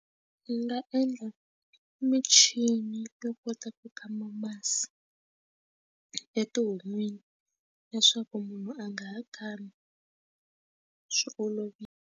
Ndzi nga endla michini to kota ku kuma masi e tihon'wini leswaku munhu a nga ha khani swi olovile.